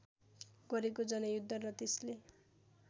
गरेको जनयुद्ध र त्यसले